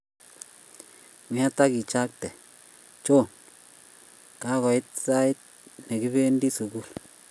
Nget akichapgei, Johnny! Kagoit sai nekibendi sugul